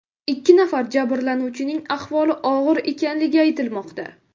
Ikki nafar jabrlanuvchining ahvoli og‘ir ekanligi aytilmoqda.